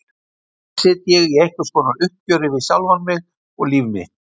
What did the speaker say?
Hér sit ég í einhvers konar uppgjöri við sjálfan mig og líf mitt.